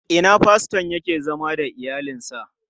A ina faston yake zama da iyalinsa?